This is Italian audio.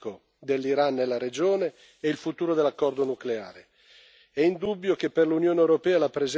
Poi vi è un secondo aspetto, che riguarda il ruolo politico dell'Iran nella regione e il futuro dell'accordo nucleare.